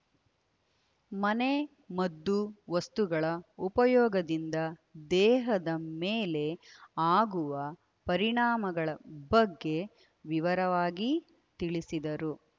ಮನೆ ಮದ್ದು ವಸ್ತುಗಳ ಉಪಯೋಗದಿಂದ ದೇಹದ ಮೇಲೆ ಆಗುವ ಪರಿಣಾಮಗಳ ಬಗ್ಗೆ ವಿವರವಾಗಿ ತಿಳಿಸಿದರು